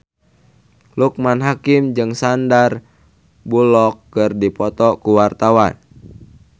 Loekman Hakim jeung Sandar Bullock keur dipoto ku wartawan